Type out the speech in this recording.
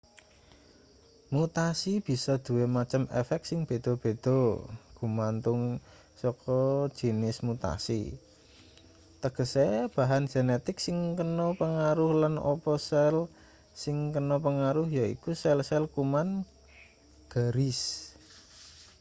mutasi bisa duwe macem efek sing beda-beda gumantung saka jinis mutasi tegese bahan genetik sing kena pangaruh lan apa sel sing kena pangaruh yaiku sel-sel kuman-garis